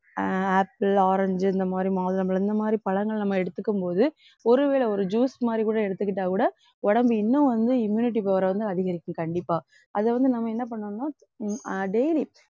அஹ் apple, orange இந்த மாதிரி மாதுளம்பழம் இந்த மாதிரி பழங்கள் நம்ம எடுத்துக்கும் போது ஒருவேளை ஒரு juice மாதிரி கூட எடுத்துக்கிட்டாக்கூட உடம்பு இன்னும் வந்து immunity power அ வந்து அதிகரிக்கும் கண்டிப்பா. அதை வந்து நம்ம என்ன பண்ணணும்னா உம் அஹ் daily